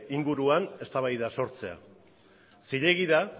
inguruan eztabaida sortzea zilegi da